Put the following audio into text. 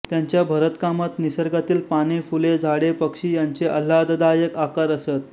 त्यांच्या भरतकामात निसर्गातील पाने फुले झाडे पक्षी यांचे आल्हाददायक आकार असत